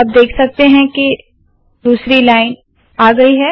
आप देख सकते है के दूसरी लाइन आ गयी है